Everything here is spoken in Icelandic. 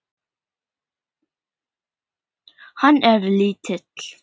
Hann er lítill.